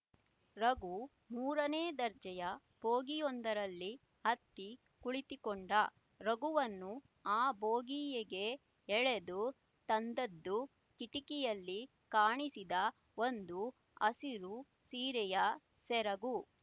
ರಘು ಮೂರನೇ ದರ್ಜೆಯ ಭೋಗಿಯೊಂದರಲ್ಲಿ ಹತ್ತಿ ಕುಳಿತುಕೊಂಡ ರಘುವನ್ನು ಆ ಭೋಗಿಯಗೆ ಎಳೆದು ತಂದದ್ದು ಕಿಟಕಿಯಲ್ಲಿ ಕಾಣಿಸಿದ ಒಂದು ಹಸಿರು ಸೀರೆಯ ಸೆರಗು